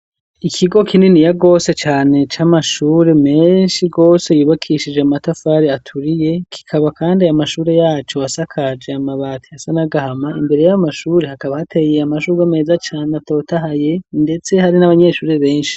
Ikigo kininiya rwose cane c'amashure menshi rwose yubakishije amatafari aturiye kikaba kandi ayo mashure yaco asakaje amabati ayasa n'agahama imbere yayo mamashure hakaba hateye amashugwe meza cane atotahaye ndetse hari n'abanyeshure benshi.